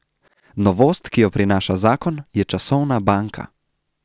Novost, ki jo prinaša zakon, je časovna banka.